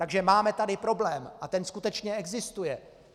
Takže máme tady problém, a ten skutečně existuje.